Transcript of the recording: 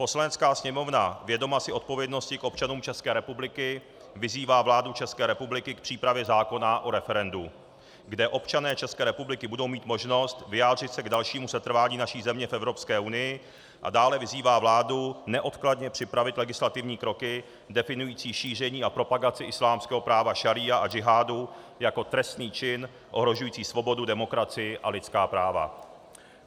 Poslanecká sněmovna, vědoma si odpovědnosti k občanům České republiky, vyzývá vládu České republiky k přípravě zákona o referendu, kde občané České republiky budou mít možnost vyjádřit se k dalšímu setrvání naší země v Evropské unii, a dále vyzývá vládu neodkladně připravit legislativní kroky definující šíření a propagaci islámského práva šaría a džihádu jako trestný čin ohrožující svobodu, demokracii a lidská práva.